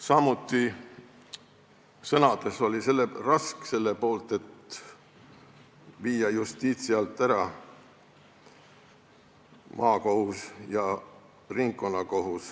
Samuti oli Rask sõnades selle poolt, et viia maakohus ja ringkonnakohus Justiitsministeeriumi alt ära.